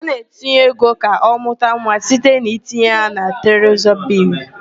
A na-etinye ego ka ọmụta nwa site n'itinye ya na trezọrị bịlls.